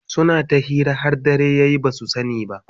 suna ta hira har dare yaye basu sani ba